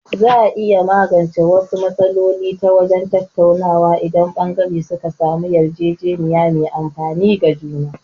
Za a iya magance wasu matsaloli ta wajen tattaunawa, inda ɓangare suka samu yarjejeniya mai amfani ga juna.